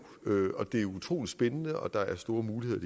det er utrolig spændende og der er store muligheder